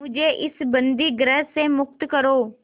मुझे इस बंदीगृह से मुक्त करो